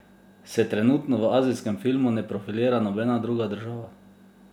Se trenutno v azijskem filmu ne profilira nobena druga država?